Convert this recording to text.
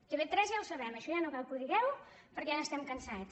tv3 ja ho sabem això ja no cal que ho digueu perquè ja n’estem cansats